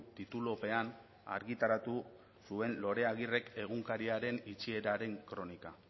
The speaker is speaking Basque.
titulupean argitaratu zuen lorea agirrek egunkariaren itxieraren kronika